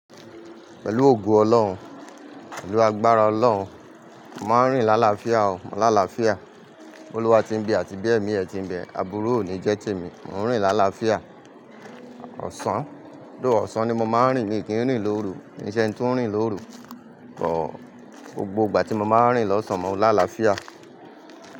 Pẹ̀lú ògo Ọlọ́run, pẹ̀lú agbára Ọlọ́run, màá rìn lálafíà o, mò ńlá láfíà. Olúwa tí ń bí àti bí èmi ẹ ti ń bẹ, àbúrò ò ní jẹ́ tèmi, mò ń rìn lálafíà. Ọ̀sán, ló Ọ̀sán ni mo máa ń rìn ni ìkíni rìn lóru, ní iṣẹ́ tí ń rìn lóru. Kọ́, gbogbo ìgbà tí mo máa ń rìn lọ́sàn-án mò ńlá láfíà.